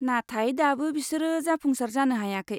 नाथाय दाबो बेसोरो जाफुंसार जानो हायाखै।